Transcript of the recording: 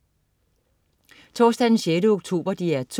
Torsdag den 16. oktober - DR 2: